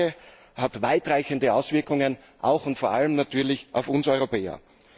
Die Lage hat weitreichende Auswirkungen auch und vor allem natürlich auf uns Europäer.